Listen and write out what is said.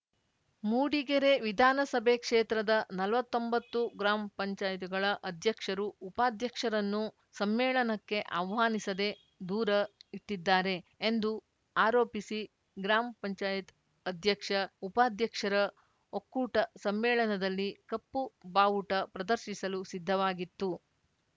ಮೂಡಿಗೆರೆ ವಿಧಾನಸಭೆ ಕ್ಷೇತ್ರದ ನಲವತ್ತೊಂಬತ್ತು ಗ್ರಾಮ್ಪಂಚಾಯತ್ಗಳ ಅಧ್ಯಕ್ಷರು ಉಪಾಧ್ಯಕ್ಷರನ್ನು ಸಮ್ಮೇಳನಕ್ಕೆ ಆಹ್ವಾನಿಸದೇ ದೂರ ಇಟ್ಟಿದ್ದಾರೆ ಎಂದು ಆರೋಪಿಸಿ ಗ್ರಾಮ್ಪಂಚಾಯತ್ ಅಧ್ಯಕ್ಷ ಉಪಾಧ್ಯಕ್ಷರ ಒಕ್ಕೂಟ ಸಮ್ಮೇಳನದಲ್ಲಿ ಕಪ್ಪು ಬಾವುಟ ಪ್ರದರ್ಶಿಸಲು ಸಿದ್ಧವಾಗಿತ್ತು